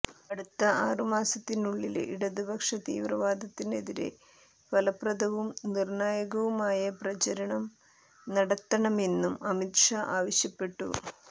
അടുത്ത ആറുമാസത്തിനുള്ളില് ഇടതുപക്ഷ തീവ്രവാദത്തിനെതിരെ ഫലപ്രദവും നിര്ണ്ണായകവുമായ പ്രചരണം നടത്തണമെന്നും അമിത് ഷാ ആവശ്യപ്പെട്ടു